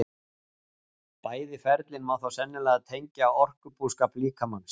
Bæði ferlin má þó sennilega tengja orkubúskap líkamans.